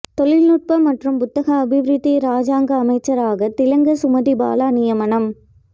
தொழில்நுட்ப மற்றும் புத்தாக்க அபிவிருத்தி இராஜாங்க அமைச்சராக திலங்க சுமதிபால நியமனம்